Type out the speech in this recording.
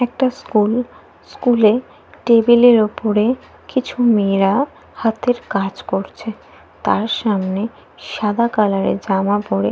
একটা school. School এ টেবিলের এর উপরে কিছু মেয়েরা হাতের কাজ করছে। তার সামনে সাদা কালারের জামা পড়ে --